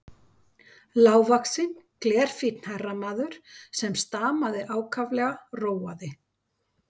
Lágvaxinn, glerfínn herramaður, sem stamaði ákaflega, róaði